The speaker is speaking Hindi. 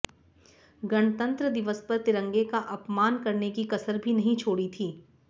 गणतंत्र दिवस पर तिरंगे का अपमान करने की कसर भी नहीं छोड़ी थी